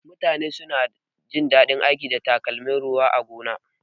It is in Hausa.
Mutane suna jin daɗin aiki da takalmin ruwa a gona.